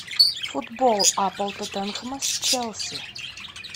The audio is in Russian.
футбол апл тоттенхэма с челси